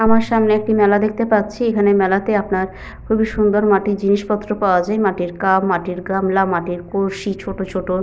আমার সামনে একটি মেলা দেখতে পাচ্ছি। এখানে মেলাতে আপনার খুবই সুন্দর মাটির জিনিসপত্র পাওয়া যায়। মাটির কাপ মাটির গামলা মাটির কলসি ছোট ছোট --